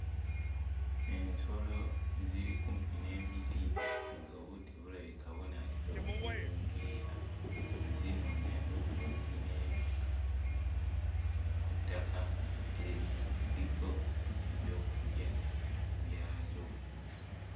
Ensolo, ziri kumpi n'emiti ng'obudde bulabika bunaatera okuwungeera, zinoonya ndowooza we zineebaka ku ttaka eririko ebyokulya byazo.